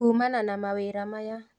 Kuumana na mawĩra maya